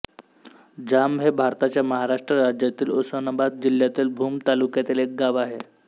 जांब हे भारताच्या महाराष्ट्र राज्यातील उस्मानाबाद जिल्ह्यातील भूम तालुक्यातील एक गाव आहे